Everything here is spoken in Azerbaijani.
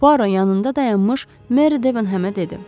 Puaro yanında dayanmış Meri Debenhemə dedi.